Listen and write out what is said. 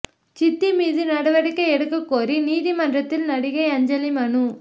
சித்தி மீது நடவடிக்கை எடுக்கக் கோரி நீதிமன்றத்தில் நடிகை அஞ்சலி மனு